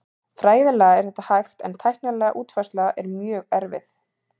Fræðilega er þetta hægt en tæknileg útfærsla er mjög erfið.